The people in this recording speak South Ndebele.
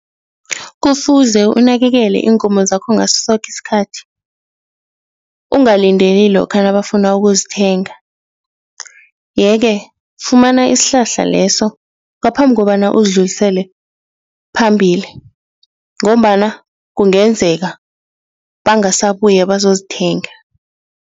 Kufuze unakekele iinkomo zakho ngasosoke isikhathi, ungalindeli lokha nabafuna ukuzithenga yeke, fumana isihlahla leso ngaphambi kobana uzidlulisele phambili ngombana kungenzeka bangasabuya bazozithenga.